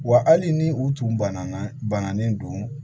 Wa hali ni u tun banana bananen don